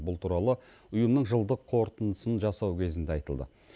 бұл туралы ұйымның жылдық қорытындысын жасау кезінде айтылды